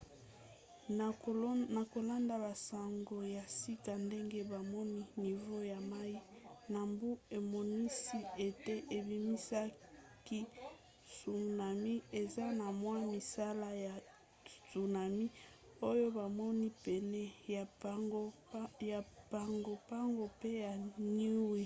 na kolanda basango ya sika ndenge bamoni nivo ya mai na mbu emonisi ete ebimisaki tsunami. eza na mwa misala ya tsunami oyo bamoni pene ya pago pago mpe ya niue